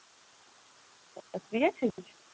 একটু free আছিস।